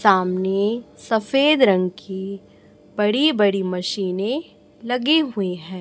सामने सफेद रंग की बड़ी बड़ी मशीने लगी हुई है।